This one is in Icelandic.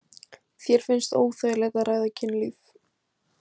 Þér finnst óþægilegt að ræða kynlíf?